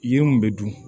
Yiri mun bɛ dun